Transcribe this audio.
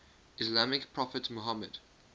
islamic prophet muhammad